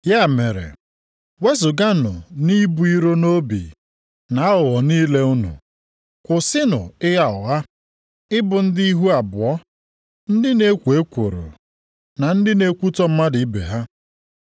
Ya mere, wezuganụ nʼibu iro nʼobi na aghụghọ niile unu, kwụsịnụ ịgha ụgha, ịbụ ndị ihu abụọ, ndị na-ekwo ekworo, na ndị na-ekwutọ mmadụ ibe ha.